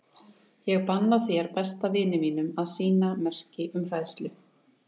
Ég banna þér, besta vini mínum, að sýna merki um hræðslu.